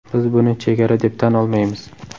Biz buni chegara deb tan olmaymiz.